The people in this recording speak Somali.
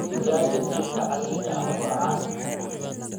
Digaagga jiilka casriga ah waa caan.